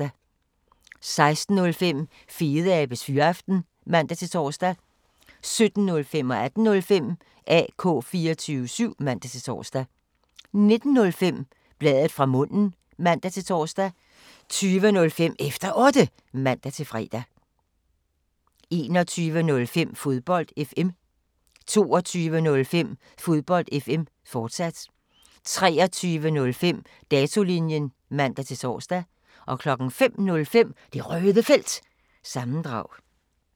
16:05: Fedeabes Fyraften (man-tor) 17:05: AK 24syv (man-tor) 18:05: AK 24syv (man-tor) 19:05: Bladet fra munden (man-tor) 20:05: Efter Otte (man-fre) 21:05: Fodbold FM 22:05: Fodbold FM, fortsat 23:05: Datolinjen (man-tor) 05:05: Det Røde Felt – sammendrag